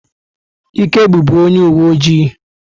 Ike bụbu onye uwe ojii.